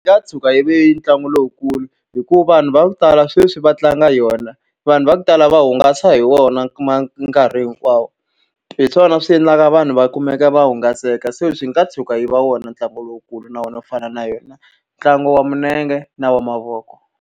Yi nga tshuka yi ve ntlangu lowukulu hikuva vanhu va ku tala sweswi va tlanga yona, vanhu va ku tala va hungasa hi wona nkarhi hinkwawo. Hi swona swi endlaka vanhu va kumeka va hungaseka, se swi nga tshuka yi va wona ntlangu lowukulu. Na wona wu fana na yona ntlangu wa milenge na wa mavoko.